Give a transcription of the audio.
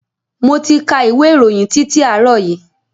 Mo ti ka ìwé ìròyìn titi àárọ̀ yìí.